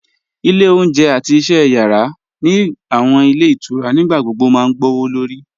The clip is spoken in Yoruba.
Ile ọ̀unjẹ̀ àti iṣẹ̀ yara ni awọn ilẹ̀ itura nígbàgbogbo ma gbọwọ́lọ̀rì